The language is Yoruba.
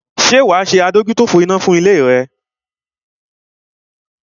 Ṣé wa ṣe fire ìsedúró fún ilé rẹ?